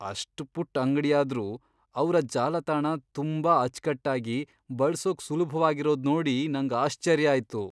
ಅಷ್ಟ್ ಪುಟ್ಟ್ ಅಂಗ್ಡಿಯಾದ್ರೂ ಅವ್ರ ಜಾಲತಾಣ ತುಂಬಾ ಅಚ್ಕಟ್ಟಾಗಿ, ಬಳ್ಸೋಕ್ ಸುಲಭ್ವಾಗಿರೋದ್ ನೋಡಿ ನಂಗ್ ಆಶ್ಚರ್ಯ ಆಯ್ತು.